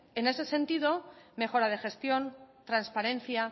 en ese sentido mejora de gestión transparencia